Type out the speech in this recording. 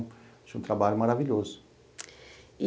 Achei um trabalho maravilhoso.